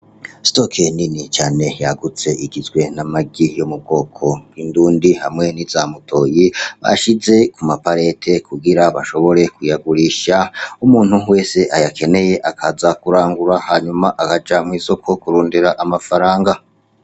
Sitoki nini cane yagutse igizwe n'amagi yo mubwoko bw'indundi hamwe niza mutoyi bashize kumapareti kugira bashobore kuyagurisha umuntu wese ayakeneye akaza kurangura hanyuma akaja mw'isoko kurondera amafaranga.